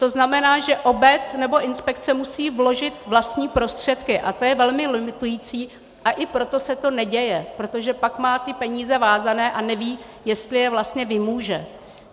To znamená, že obec nebo inspekce musí vložit vlastní prostředky, a to je velmi limitující, a i proto se to neděje, protože pak má ty peníze vázané a neví, jestli je vlastně vymůže.